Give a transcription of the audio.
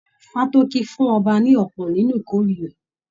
Fátókí fún ọba ní ọpọ nínú ìkórè rẹ.